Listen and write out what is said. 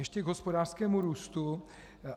Ještě k hospodářskému růstu.